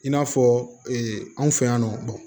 I n'a fɔ anw fɛ yan nɔ